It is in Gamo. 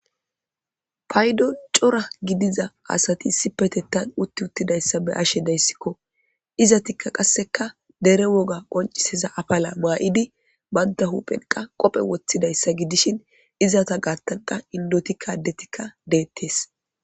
paydo cora gidiza asati sipetettan utti uttidayssa be ashe dayssikko izatikka qasseka dere woga qonciseza afala maa7idi banta huphenqa qophe woththidayssa gidishin izata gaattanqa indotikkadetikka deettees